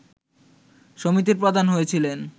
সমিতির প্রধান হয়েছিলেন